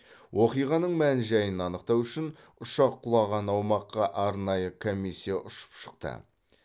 оқиғаның мән жайын анықтау үшін ұшақ құлаған аумаққа арнайы комиссия ұшып шықты